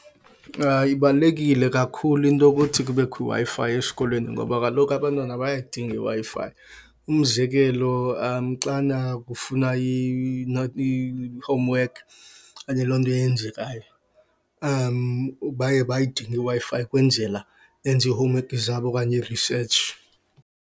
Ibalulekile kakhulu into okuthi kubekho iWi-Fi esikolweni ngoba kaloku abantwana bayayidinga iWi-Fi. Umzekelo, xana ufuna i-homework okanye loo nto yenzekayo, baye bayidinge iWi-Fi ukwenzela benze ii-homework zabo okanye i-research.